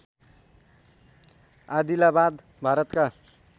आदिलाबाद भारतका